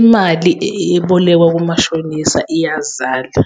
Imali ebolekwa kumashonisa iyazala,